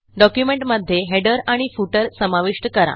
डॉक्युमेंटमध्ये हेडर आणि फुटर समाविष्ट करा